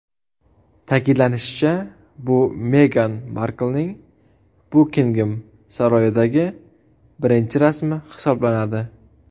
Ta’kidlanishicha, bu Megan Marklning Bukingem saroyidagi birinchi rasmi hisoblanadi.